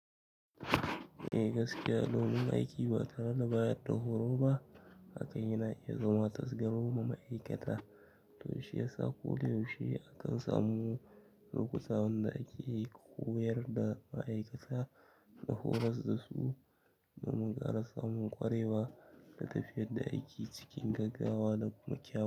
Eh gaskiya, launin aiki ba tare da bayar da horo ba hakan yana iya zama tasga goma ma ma'aikata. To shi ya sa ko da yaushe akan samu lokuta wanda ake koyar da ma'aikata da horas da su domin ƙara samun ƙwarewa da tafiyar da aiki cikin gaggawa da kuma kyau.